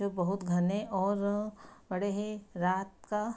जो बहुत घने और बड़े हैं रात का |